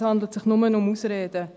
Es handelt sich nur um Ausreden.